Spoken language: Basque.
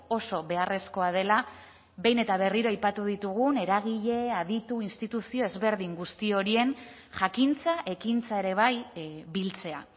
oso beharrezkoa dela behin eta berriro aipatu ditugun eragile aditu instituzio ezberdin guzti horien jakintza ekintza ere bai biltzea